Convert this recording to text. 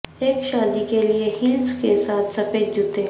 ایک شادی کے لئے ہیلس کے ساتھ سفید جوتے